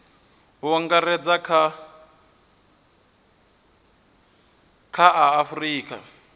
u angaredza kha a afurika